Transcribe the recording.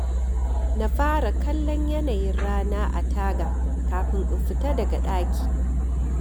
Na fara kallon yanayin rana a taga kafin in fita daga ɗaki.